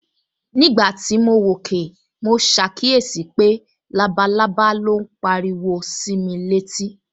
Nígbà tí mo wòkè, mo ṣàkíyèsí pé labalábá ló ń pariwo sí mi létí